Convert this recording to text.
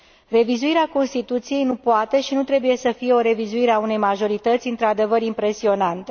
Revizuirea Constituției nu poate și nu trebuie să fie o revizuire a unei majorități într adevăr impresionante.